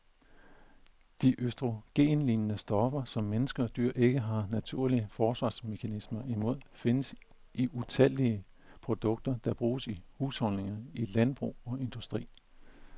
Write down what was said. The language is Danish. De østrogenlignende stoffer, som mennesker og dyr ikke har naturlige forsvarsmekanismer imod, findes i utallige produkter, der bruges i husholdninger, i landbrug og industri.